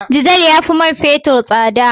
Diesel ya fi man fetur tsada